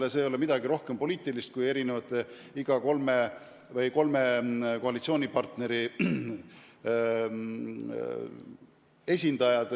Selles ei ole midagi rohkem poliitilist, kui et selles rühmas on kolme koalitsioonipartneri esindajad.